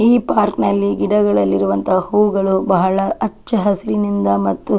ಈ ಪಾರ್ಕ್ ನಲ್ಲಿ ಗಿಡಗಳಲ್ಲಿ ಇರುವಂತಹ ಹೂವುಗಳು ಬಹಳ ಅಚ್ಚ ಹಸಿರಿನಿಂದ ಮತ್ತು --